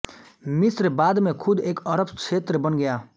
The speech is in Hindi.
मिस्र बाद में खुद एक अरब क्षेत्र बन गया